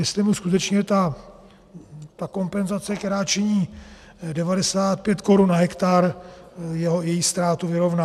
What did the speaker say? Jestli mu skutečně ta kompenzace, která činí 95 korun na hektar, její ztrátu vyrovná.